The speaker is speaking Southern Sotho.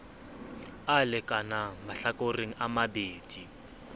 a lekanang mahlakoreng a mabedi